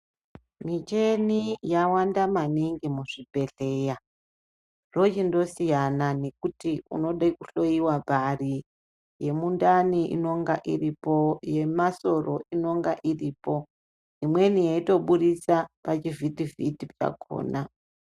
Michini yawanda maningi muzvibhehleya zvochindosiyana nekuti unoda kuhloyiwa pari. Yemundani inonga iripo, yemasoro inonga iripo. Imweni yeitoburitsa pachivhitivhiti pakona.